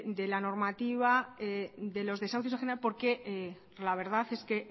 de la normativa de los desahucios en general porque la verdad es que